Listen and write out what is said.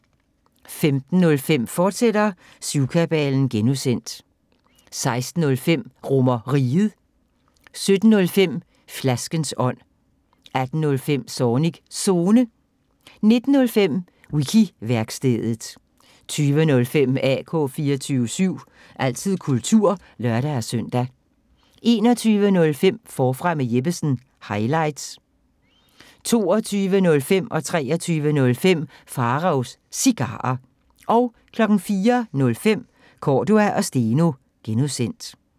15:05: Syvkabalen (G), fortsat 16:05: RomerRiget 17:05: Flaskens ånd 18:05: Zornigs Zone 19:05: Wiki-værkstedet 20:05: AK 24syv – altid kultur (lør-søn) 21:05: Forfra med Jeppesen – highlights 22:05: Pharaos Cigarer 23:05: Pharaos Cigarer 04:05: Cordua & Steno (G)